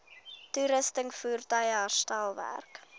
toerusting voertuie herstelwerk